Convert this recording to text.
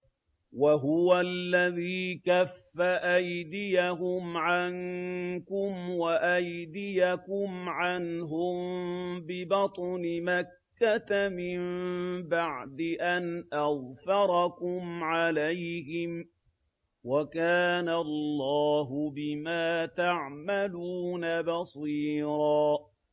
وَهُوَ الَّذِي كَفَّ أَيْدِيَهُمْ عَنكُمْ وَأَيْدِيَكُمْ عَنْهُم بِبَطْنِ مَكَّةَ مِن بَعْدِ أَنْ أَظْفَرَكُمْ عَلَيْهِمْ ۚ وَكَانَ اللَّهُ بِمَا تَعْمَلُونَ بَصِيرًا